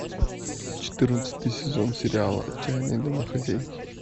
четырнадцатый сезон сериала отчаянные домохозяйки